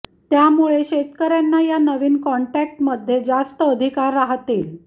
त्यामुळे शेतकऱ्यांना या नवीन कॉन्टॅक्ट मध्ये जास्त अधिकार राहतील